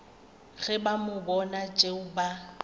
ge ba bona tšeo ba